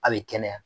A bɛ kɛnɛya